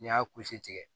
N'i y'a kusi tigɛ